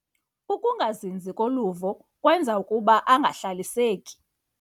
Ukungazinzi koluvo kwenza ukuba angahlaliseki.